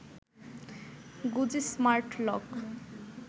গোজি smart lock